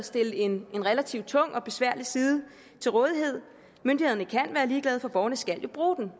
stille en relativt tung og besværlig side til rådighed myndighederne kan være ligeglade for borgerne skal jo bruge den